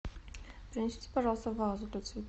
принесите пожалуйста вазу для цветов